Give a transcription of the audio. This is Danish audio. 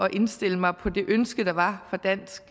at indstille mig på det ønske der var fra dansk